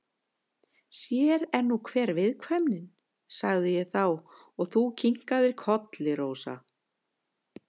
Sér er nú hver viðkvæmnin, sagði ég þá og þú kinkaðir kolli, Rósa.